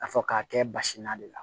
A fɔ k'a kɛ basi na de la